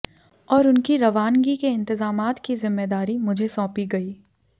और उनकी रवानगी के इंतेज़ामात की ज़िम्मेदारी मुझे सौंपी गई